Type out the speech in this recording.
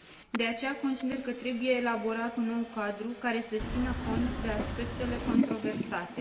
De aceea, consider că trebuie elaborat un nou cadru, care să țină cont de aspectele controversate.